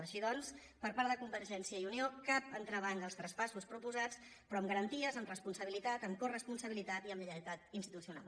així doncs per part de convergència i unió cap en·trebanc als traspassos proposats però amb garanties amb responsabilitat amb coresponsabilitat i amb lle·ialtat institucional